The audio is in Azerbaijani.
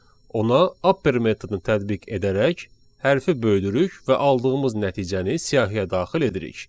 ona upper metodunu tətbiq edərək hərfi böyüdürük və aldığımız nəticəni siyahıya daxil edirik.